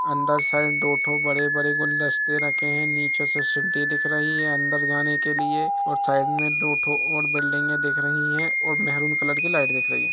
अंदर साइड दो ठो बड़े बड़े गुलदस्ते रखे हैं और निचे से सीढ़ी दिख रही है अंदर जाने के लिए और साइड में दो ठो बील्डिंग दिख रहे हैं राही है और मैरून रंग की लाइट दिख रही है।